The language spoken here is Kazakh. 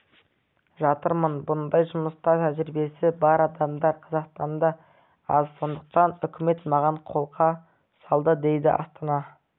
жатырмын бұндай жұмыста тәжірибесі бар адамдар қазақстанда аз сондықтан үкімет маған қолқа салды дейді астана